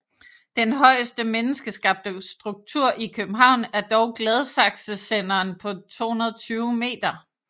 Den højeste menneskeskabte struktur i København er dog Gladsaxesenderen på 220 meter